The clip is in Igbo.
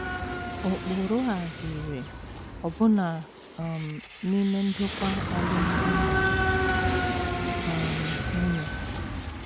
Ụkpụrụ a dị irè ọbụna um n’ime ndokwa alụmdi na um nwunye. um